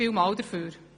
Vielen Dank dafür!